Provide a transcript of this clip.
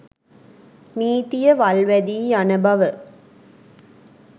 නීතිය වල් වැදී යන බව